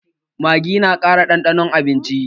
Maggi na ƙara ɗanɗanon abinci